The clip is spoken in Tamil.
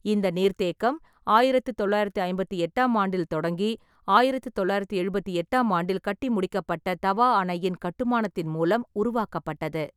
இந்த நீர்த்தேக்கம் ஆயிரத்து தொள்ளாயிரத்தி ஐம்பத்தி எட்டாம் ஆண்டில் தொடங்கி ஆயிரத்தி தொள்ளாயிரத்தி எழுபத்தி எட்டாம் ஆண்டில் கட்டி முடிக்கப்பட்ட தவா அணையின் கட்டுமானத்தின் மூலம் உருவாக்கப்பட்டது.